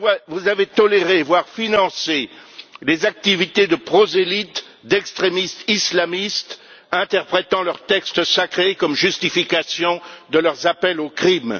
Vous avez toléré, voire financé, des activités de prosélytes, d'extrémistes islamistes interprétant leurs textes sacrés comme justification de leurs appels au crime.